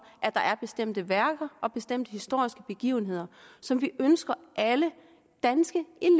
at der er bestemte værker og bestemte historiske begivenheder som vi ønsker at alle danske